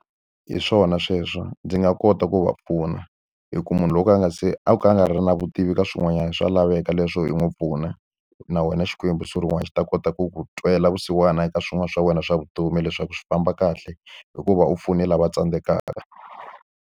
Hi swona sweswo, ndzi nga kota ku va pfuna. Hi ku munhu loko a nga se a ka a nga ri na vutivi ka swin'wanyana swa laveka leswo i n'wi pfuna, na wena Xikwembu siku rin'wana xi ta kota ku ku twela vusiwana eka swin'wana swa wena swa vutomi leswaku swi famba kahle hikuva u pfune lava tsandzekaka.